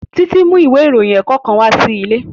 Títí mú ìwé ìròyìn ẹ̀kọ́ kan wá sí ilé